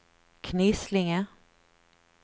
Knislinge